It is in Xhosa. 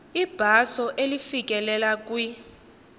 ibhaso elifikelela kwi